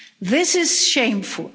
This is shameful.